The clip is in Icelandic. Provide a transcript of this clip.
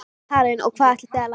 Karen: Og hvað ætlið þið að læra?